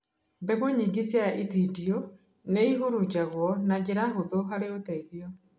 Mbegũ nyingĩ cia itindiĩ nĩihurunjagwo na njĩra hũthũ harĩ ũteithio